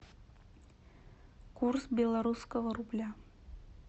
курс белорусского рубля